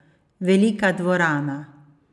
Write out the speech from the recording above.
Velika dvorana.